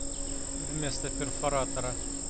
вместо перфоратора